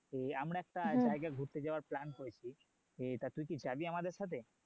যে আমার একটা জায়গা ঘুরতে যাওয়ার plan করছি তো তুই কি যাবি আমাদের সাথে?